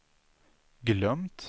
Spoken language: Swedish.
glömt